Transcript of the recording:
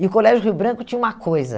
E o Colégio Rio Branco tinha uma coisa.